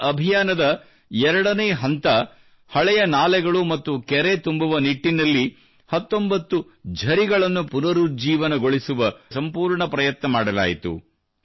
ಈ ಅಭಿಯಾನದ 2 ನೇ ಹಂತ ಹಳೆಯ ನಾಲೆಗಳು ಮತ್ತು ಕೆರೆ ತುಂಬುವ ನಿಟ್ಟಿನಲ್ಲಿ 19 ಕೊಳಗಳನ್ನು ಪುನರುಜ್ಜೀವನಗೊಳಿಸುವ ಸಂಪೂರ್ಣ ಪ್ರಯತ್ನ ಮಾಡಲಾಯಿತು